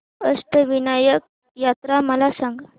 अष्टविनायक यात्रा मला सांग